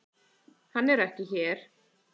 Hann er ekki hér.